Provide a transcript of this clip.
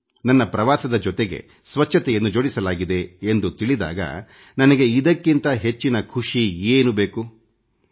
ನನ್ನ ಪ್ರವಾಸದ ಜೊತೆಗೆ ಸ್ವಚ್ಛತೆಯನ್ನು ಜೋಡಿಸಲಾಗಿದೆ ಎಂದು ತಿಳಿದಾಗ ನನಗೆ ಇದಕ್ಕಿಂತ ಹೆಚ್ಚಿನ ಖುಷಿ ಏನು ಬೇಕು ಹೇಳಿ